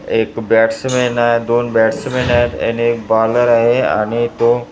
एक बॅट्समन आहे दोन बॅट्समन आहेत आणि एक बॉलर आहे आणि तो--